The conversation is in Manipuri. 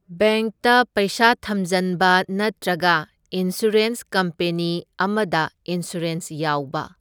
ꯕꯦꯡꯛꯇ ꯄꯩꯁꯥ ꯊꯝꯖꯟꯕ ꯅꯠꯇ꯭ꯔꯒꯅ ꯏꯟꯁꯨꯔꯦꯟꯁ ꯀꯝꯄꯦꯅꯤ ꯑꯃꯗ ꯏꯟꯁꯨꯔꯦꯟ ꯌꯥꯎꯕ꯫